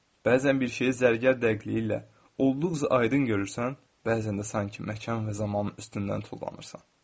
Bəzən bir şeyi zərgər dəqiqliyi ilə olduqca aydın görürsən, bəzən də sanki məkan və zamanın üstündən tullanırsan.